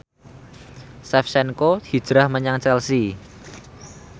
Shevchenko hijrah menyang Chelsea